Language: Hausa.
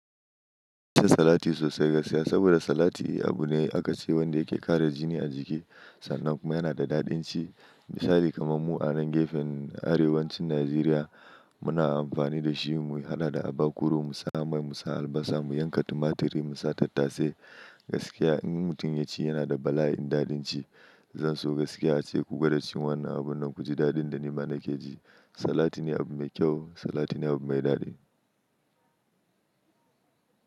Ina salati sosai gaskiya, saboda salati abu ne aka ce wanda yake ƙara jini a jiki sannan kuma yana da daɗin ci. Misali kamar mu a nan gefen Arewacin Najeriya muna amfani da shi mu haɗa da abakuru, mu sa mai, mu sa albasa, mu yanka tumaturi, mu sa tattase gaskiya in mutum ya ci yana da bala'in daɗin ci. Zan so gaskiya ace ku gwada cin wannan abun nan ku ji daɗin da nima na ke ji. Salati ne abu mai kyau, salati ne abu mai daɗi.